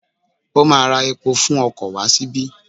Ó ma ra epo fún okò wá síbí.